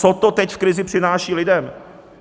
Co to teď v krizi přináší lidem?